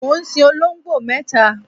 mò ń sin olongbo mẹta